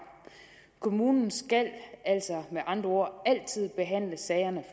kommunen skal altså med andre ord altid behandle sagerne